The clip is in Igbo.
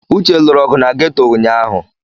Uche lụrụ ọgụ na ghetọ ụnyahụ.